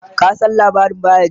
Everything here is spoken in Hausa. ka San labarin bayajidda?